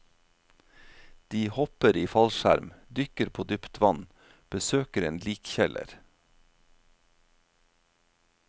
De hopper i fallskjerm, dykker på dypt vann, besøker en likkjeller.